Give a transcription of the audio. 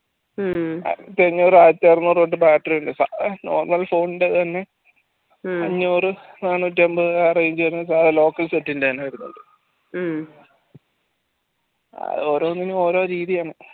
ആയിരത്തി അന്നൂർ ആയിരത്തി അറുന്നൂർ തൊട്ട് battery normal phone ന്റേത് തന്നെ അന്നൂർ നാന്നൂറ്റി എന്പത് range വരുന്ന സാധനം local set ന്റെ എന്നെ വരുന്നുണ്ട് അത് ഓരോന്നിനും ഓരോ രീതിയാണ്